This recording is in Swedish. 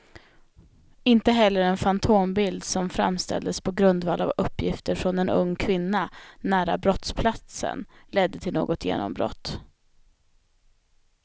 Inte heller en fantombild som framställdes på grundval av uppgifter från en ung kvinna nära brottsplatsen ledde till något genombrott.